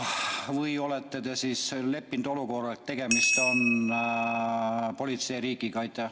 Või olete te leppinud olukorraga, kus tegemist on politseiriigiga?